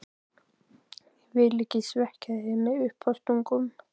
Ég vil ekki svekkja þig með uppástungum.